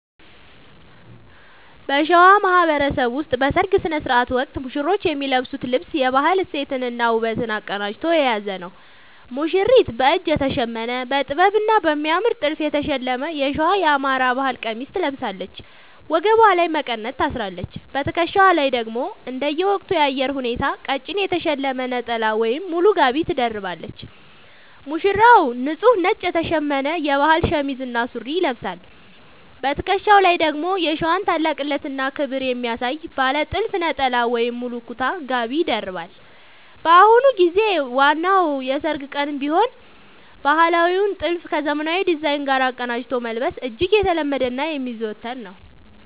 በሸዋ ማህበረሰብ ውስጥ በሠርግ ሥነ ሥርዓት ወቅት ሙሽሮች የሚለብሱት ልብስ የባህል እሴትንና ውበትን አቀናጅቶ የያዘ ነው፦ ሙሽሪት፦ በእጅ የተሸመነ: በጥበብና በሚያምር ጥልፍ የተሸለመ የሸዋ (የአማራ) ባህል ቀሚስ ትለብሳለች። ወገቧ ላይ መቀነት ታስራለች: በትከሻዋ ላይ ደግሞ እንደየወቅቱ የአየር ሁኔታ ቀጭን የተሸለመ ነጠላ ወይም ሙሉ ጋቢ ትደርባለች። ሙሽራው፦ ንጹህ ነጭ የተሸመነ የባህል ሸሚዝ እና ሱሪ ይለብሳል። በትከሻው ላይ ደግሞ የሸዋን ታላቅነትና ክብር የሚያሳይ ባለ ጥልፍ ነጠላ ወይም ሙሉ ኩታ (ጋቢ) ይደርባል። በአሁኑ ጊዜ በዋናው የሠርግ ቀንም ቢሆን ባህላዊውን ጥልፍ ከዘመናዊ ዲዛይን ጋር አቀናጅቶ መልበስ እጅግ የተለመደና የሚዘወተር ነው።